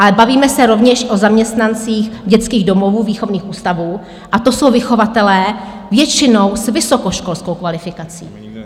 Ale bavíme se rovněž o zaměstnancích dětských domovů, výchovných ústavů, a to jsou vychovatelé většinou s vysokoškolskou kvalifikací.